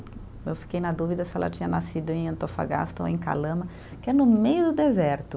Eu fiquei na dúvida se ela tinha nascido em Antofagasta ou em Calama, que é no meio do deserto.